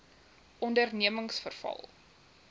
ondernemingsveral